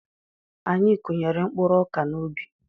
Anyị kụnyere mkpụrụ ọkà n'ubi.